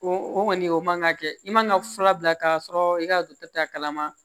O o kɔni o man ka kɛ i man ga fura bila ka sɔrɔ i ka dɔkitɛri kalama